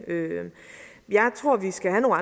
jeg tror at vi skal have